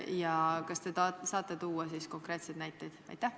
Ja kas te saate tuua konkreetseid näiteid?